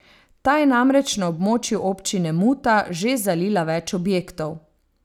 Ta je namreč na območju občine Muta že zalila več objektov.